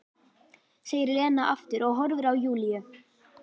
segir Lena aftur og horfir á Júlíu.